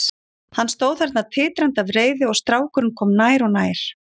Hann stóð þarna titrandi af reiði og strákurinn kom nær og nær.